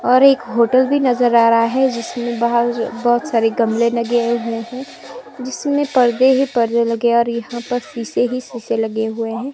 और एक होटल भी नजर आ रहा है जिसमें बाहर बहुत सारे गमले लगे हुए हैं जिसमें पर्दे ही पर्दे लगे हैं और यहां पर शीशे ही शीशे लगे हुए हैं।